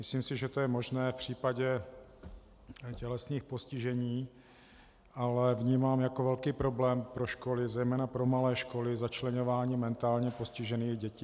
Myslím si, že to je možné v případě tělesných postižení, ale vnímám jako velký problém pro školy, zejména pro malé školy, začleňování mentálně postižených dětí.